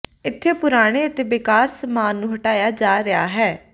ਇੱਥੇ ਪੁਰਾਣੇ ਅਤੇ ਬੇਕਾਰ ਸਾਮਾਨ ਨੂੰ ਹਟਾਇਆ ਜਾ ਰਿਹਾ ਹੈ